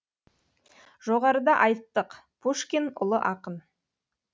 жоғарыда айттық пушкин ұлы ақын